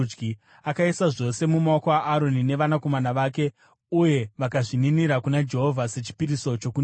Akaisa zvose mumaoko aAroni neevanakomana vake uye vakazvininira kuna Jehovha sechipiriso chokuninira.